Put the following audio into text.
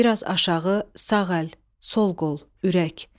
Biraz aşağı, sağ əl, sol qol, ürək.